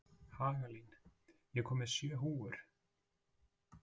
Hagalín, ég kom með sjö húfur!